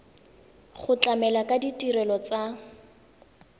go tlamela ka ditirelo tsa